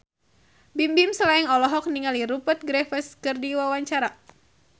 Bimbim Slank olohok ningali Rupert Graves keur diwawancara